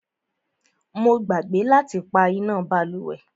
Mo gbàgbé láti pá iná bálùwẹ̀.